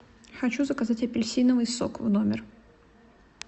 хочу заказать апельсиновый сок в номер